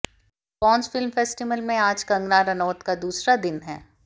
Cannes film festival में आज कंगना रनौत का दूसरा दिन है